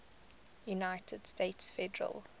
united states federal